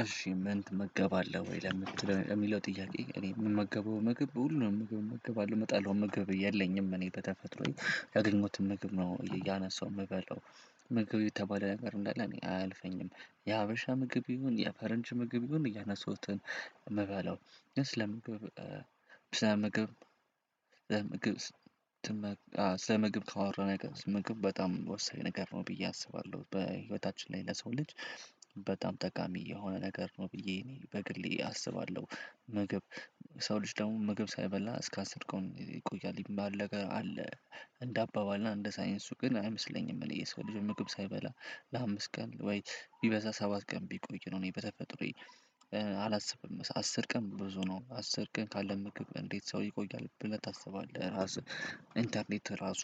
እሺ ምን ትመገባለህ ወይ? የሚለው ጥያቄ እኔ ምን ምመገባው ምግብ ሁሉንም እመገባለው ምጣለው ምግብ የለኝም እኔ በተፈጥሮዬ ያገኘሁት ምግብ ነው እያነሳሁ የምበለው ምግብ የተባለ ነገር እንዳለ አይልፈኝም። የሀበሻ ምግብ ይሁን የፈረንጅ ምግብ ይሁን እያነሱትን ምባለው ስለ ምግብ ስለ ምግብ ስለ ምግብ አዎ ስለ ምግብ ካወራን አይቀር ምግብ በጣም ወሰደ ነገር ነው ብዬ አስባለሁ በህይወታችን ላይ ለሰው ልጅ በጣም ጠቃሚ የሆነ ነገር ነው ብዬ እኔ በግሌ አስባለሁ። ምግብ ሰው ልጅ ደግሞ ምግብ ሳይበላ እስካ አስር ቀን ይቆያል ምባል ነገር አለ። እንደ አባባል እና እንደ ሳይንሱ ግን አይመስለኝም እኔ የሰው ልጅ ምግብ ሳይበላ ለአምስት ቀን ወይ ቢበዛ ሰባት ቀን ቢቆይ ነው። እኔ በተፈጥሮዬ አላስብም አስር ቀን ብዙ ነው አስር ቀን ካለምግብ እንዴት ሰው ይቆያል ብለህ ታስባለህ ራስህ? ኢንተርኔት ራሱ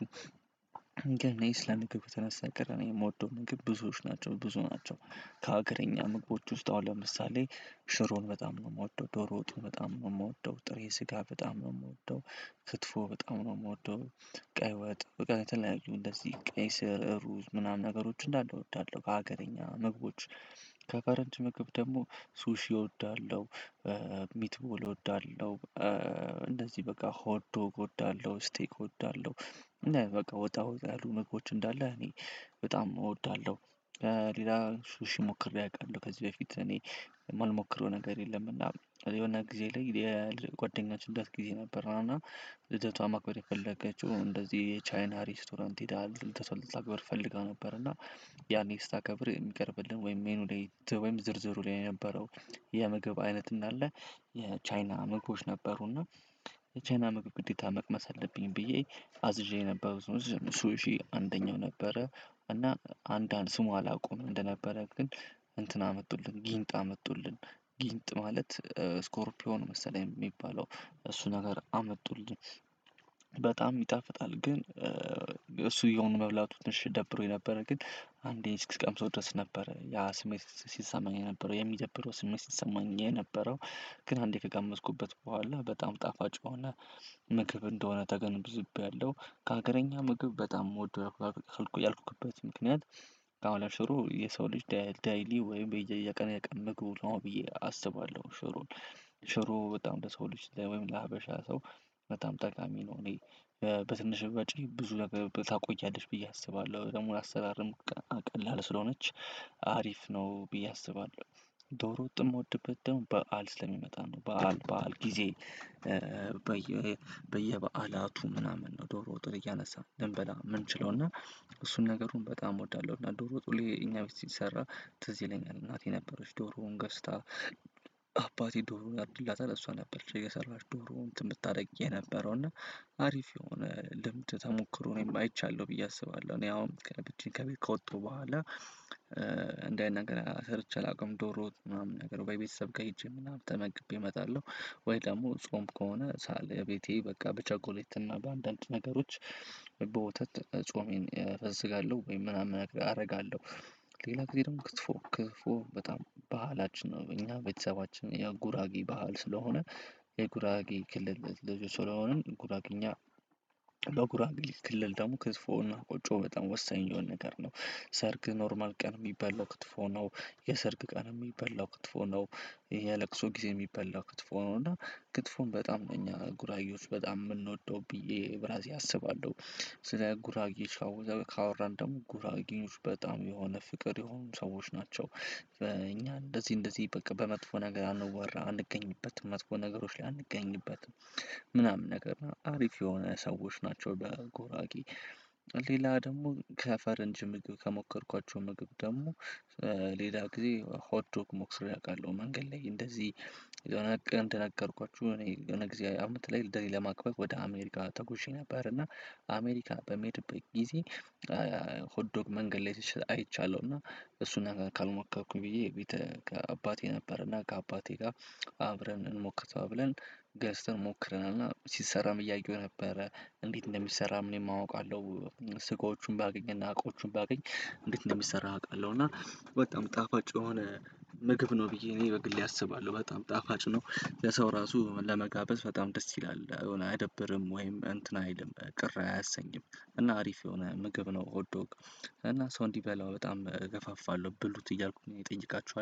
ግን እኔ ስለ ምግብ ከተነሳ አይቀረ እኔ የምወደው ምግብ ብዙዎች ናቸው። ብዙ ናቸው ከሀገረኛ ምግቦች ውስጥ አሁን ለምሳሌ ሽሮን በጣም ነው የምወደው ዶሮ ወጥን በጣም ነው የምወደው ጥሬ ስጋ በጣም ነው የምወደው። ክትፎ በጣም ነው የምወደው። ቀይ ወጥ በቃ የተለያዩ እንደዚህ ቀይ ስር ሩዝ ምናምን ነገሮች እንዳለ እወዳለሁ። ከሀገርኛ ምግቦች ከፈረንጅ ምግብ ደግሞ ሱሺ እወዳለሁ። ሚትቦል እወዳለሁ። እንደዚህ በቃ ሆዶ እወዳለሁ ስቴክ እወዳለሁ። እና በቃ ወጣ ወጣ ያሉ ምግቦች እንዳለ እኔ በጣም እወዳለሁ። ሌላ ሹሺ ሞክሬ አውቃለሁ ከዚህ በፊት እኔ የምልሞክረው ነገር የለም እና የሆነ ጊዜ ላይ የጓደኛችን ልዳት ጊዜ ነበር እና ልደቷ ማክበር የፈለገችው እንደዚህ የቻይና ሬስቶራንት ሄደ ልተሰልፍ ልታከብር ፈልጋ ነበር። እና ያኔ ስታከብር የሚቀርብልን ወይም ሜኑ ላይ ወይም ዝርዝሩ ላይ የነበረው የምግብ አይነት እንዳለ የቻይና ምግቦች ነበሩና የቻይና ምግብ ግዴታ መቅመስ አለብኝ ብዬ አዝዤ የነበረው ሱሺ አንደኛው ነበረ። እና አንዳንድ ስሙ አላውቁም እንደነበረ ግን እንትን አመጡልን ጊንጥ አመጡልን ጊንጥ ማለት ስኮርፕዮን መሰለኝ የሚባለው እሱ ነገር አመጡልን በጣም ይጣፍጣል። ግን እሱ የሆኑ መብላቱ ትንሽ ደብሮኝ ነበረ ግን አንዴ እስክቀምሰው ድረስ ነበረ ያ ስሜት ሲሰማኝ የነበረው የሚደብረው ስሜት ሲሰማኝ የነበረው ግን አንዴ ከቀመስኩበት በኋላ በጣም ጣፋጭ ሆነ። ምግብ እንደሆነ ተገንብዝቤያለሁ ከሀገረኛ ምግብ በጣም የምወደው ያልኩበት ምክንያት አሁን ላይ ሽሮ የሰው ልጅ ዳይሊ ወይም በየቀኑ ያቀኑ ምግብ ነው ብዬ አስባለሁ ሽሮን ሽሩ በጣም ለሰው ልጅ ወይም ለሀበሻ ሰው በጣም ጠቃሚ ነው። እኔ በትንሽ በጭር ብዙ ነገር ታቆያለሽ ብዬ አስባለሁ ደግሞ ላአሰራርም ቀላል ስለሆነች አሪፍ ነው ብዬ አስባለሁ። ዶሮ ወጥ የምወድበት ደግሞ በዓል ስለሚመጣ ነው በዓል በዓል ጊዜ በየ በየበዓላቱ ምናምን ነው ዶሮ ወጥ እያነሳን ልንበላ የምንችለው እና እሱን ነገሩን በጣም እወዳለሁ እና ዶሮ ወጥ ሁሌ እኛ ቤት ሲሰራ ትዝ ይለኛል እናቴ ነበረች ዶሮውን ገዝታ አባቴ ዶሮውን ያርድላታል እሷ ነበረች እየሰራች ዶሮውን እንትን ምታደርጊ የነበረው እና አሪፍ የሆነ ልምድ ተሞክሮ እኔም አይቻለው ብዬ አስባለሁ። እኔ አሁን ከቤት ከወጡ በኋላ እንደዚህ አይነት ነገር ሰርቼ አላውቅም ዶሮ ምናምን ነገር በቤተሰብ ሄጄ ምናምን ተመግቤ እመጣለሁ። ወይ ደግሞ ጾም ከሆነ ሳል ቤቴ በቃ በቸኮሌት እና በአንዳንድ ነገሮች በወተት ጾሜን እፈስጋለሁ ወይም ምናምን አደርጋለሁ። ሌላ ጊዜ ደግሞ ክትፎ ክትፎ በጣም ባህላችን ነው እኛ ቤተሰባችን የጉራጌ ባህል ስለሆነ የጉራጌ ክልል ልጅ ስለሆንን ጉራጌኛ በጉራጌ ክልል ደግሞ ክትፎና ቆጮ በጣም ወሰኝ የሆነ ነገር ነው። ሰርግ ኖርማል ቀን የሚበላው ክትፎ ነው። የሰርግ ቀን የሚበላው ክትፎ ነው። ይሄ የለቅሶ ጊዜ የሚበላው ክትፎ ነው። እና ክትፎን በጣም ነው እኛ ጉራጌዎች በጣም የምንወደው ብዬ ብራሴ አስባለሁ። ስለ ጉራጌ ካወራን ደግሞ ጉራጌዎች በጣም የሆነ ፍቅር የሆኑ ሰዎች ናቸው። በእኛ እንደዚህ እንደዚህ በቃ በመጥፎ ነገር አንወራ አንገኝበትም መጥፎ ነገሮች ላይ አንገኝበትም ምናምን ነገር አሪፍ የሆነ ሰዎች ናቸው በጉራጌ ሌላ ደግሞ ከፈረንጅ ምግብ ከሞከርኳቸው ምግብ ደግሞ ሌላ ጊዜ ሆት ዶክ ሞክሬ ላይ አውቃለሁ። መንገድ ላይ እንደዚህ የሆነ ቀን እንደነገርኳችሁ እኔ የሆነ ጊዜ አመት ላይ ልደት ለማክበር ወደ አሜሪካ ተጎሼ ነበር። እና አሜሪካ በሚሄድበት ጊዜ ሆድ ዶክ መንገድ ላይ ሲሸጥ አይቻለሁ እና እሱን ነገር ካልሞከርኩኝ ብዬ ከአባቴ ነበርና ከአባቴ ጋር አብረን እንሞክር ተባብለብ ገዝተን ሞክረናልና ሲሰራም እያየሁ ነበር እንዴት እንደሚሰራ እኔም አውቃለሁ። ስቆቹን ባገኝና እቃዎቹን ባገኝ እንዴት እንደሚሰራ አውቃለሁ እና በጣም ጣፋጭ የሆነ ምግብ ነው ብዬ እኔ በግሌ አስባለሁ። በጣም ጣፋጭ ነው ለሰው ራሱ ለመጋበዝ በጣም ደስ ይላል የሆነ አያደብርም ወይም እንትን አይልም ቅር አያሰኝም እና አሪፍ የሆነ ምግብ ነው። ኦትዶግ እና ሰው እንዲበላው በጣም እገፋፋለሁ ብሉት እያልኩ ነው። እጠይቃችሃለው